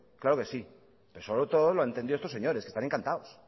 claro que sí pero sobre todo lo han entendido estos señores que están encantados